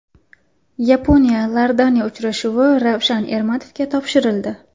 Yaponiya−Iordaniya uchrashuvi Ravshan Ermatovga topshirildi.